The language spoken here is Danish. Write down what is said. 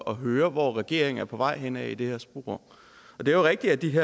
at høre hvor regeringen er på vej hen i det her spor det er rigtigt at de